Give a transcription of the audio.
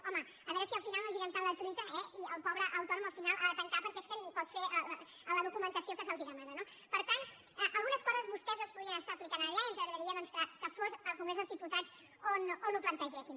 home a veure si al final no girem tant la truita i el pobre autònom al final ha de tancar perquè és que ni pot fer la documentació que se li demana no per tant algunes coses vostès les podrien estar aplicant allà i ens agradaria doncs que fos al congrés dels diputats on ho plantegessin